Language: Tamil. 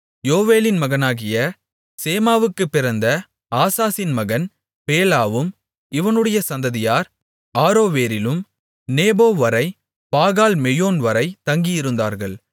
யோவேலின் மகனாகிய சேமாவுக்குப் பிறந்த ஆசாசின் மகன் பேலாவும் இவனுடைய சந்ததியார் ஆரோவேரிலும் நேபோவரை பாகால்மெயோன்வரை தங்கியிருந்தார்கள்